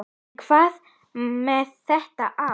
En hvað með þetta ár?